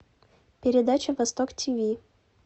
передача восток тв